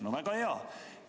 No väga hea!